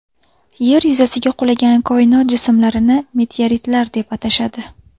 Yer yuzasiga qulagan koinot jismlarini meteoritlar deb atashadi.